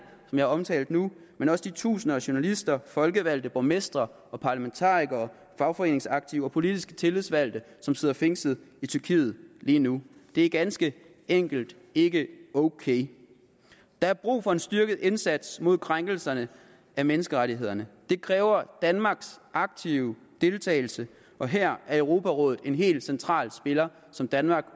som jeg omtalte nu men også de tusinder af journalister folkevalgte borgmestre parlamentarikere fagforeningsaktive og politisk tillidsvalgte som sidder fængslet i tyrkiet lige nu det er ganske enkelt ikke ok der er brug for en styrket indsats mod krænkelserne af menneskerettighederne det kræver danmarks aktive deltagelse og her er europarådet en helt central spiller som danmark